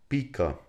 Pika.